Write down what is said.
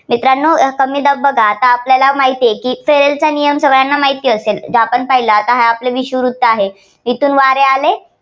मित्रांनो कमी दाब बघा आता आपल्याला माहितेय की फेरेलचा नियम सगळ्यांना माहिती असेल जे आपण पाहिलं आपलं विषुववृत्त आहे तेथून वारे आले